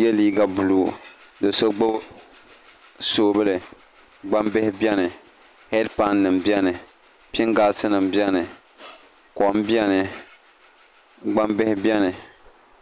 yɛ liiga buluu do so gbubi soobuli gbambihi biɛni heedpan nim biɛni pingaas nim biɛni kom biɛni gbambihi biɛni